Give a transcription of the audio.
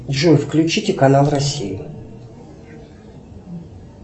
джой включите канал россия